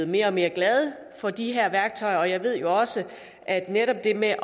mere og mere glade for de her værktøjer og jeg ved også at netop det med